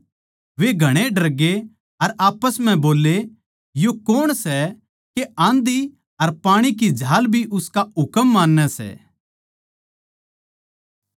वे घणे डरगे अर आप्पस म्ह बोल्ले यो कौण सै के आँधी अर पाणी की झाल भी उसका हुकम मान्नैं सै